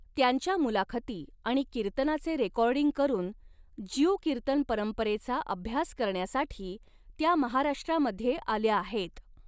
त्यांच्या मुलाखती आणि कीर्तनाचे रेकॉर्डिंग करून ज्यू कीर्तन परंपरेचा अभ्यास करण्यासाठी त्या महाराष्ट्रामध्ये आल्या आहेत.